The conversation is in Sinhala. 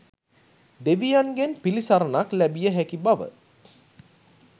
දෙවියන්ගෙන් පිළිසරණක් ලැබිය හැකි බව